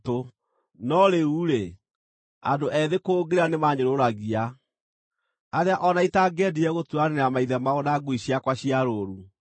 “No rĩu-rĩ, andũ ethĩ kũngĩra nĩmaanyũrũragia, arĩa o na itangĩendire gũturanĩra maithe mao na ngui ciakwa cia rũũru.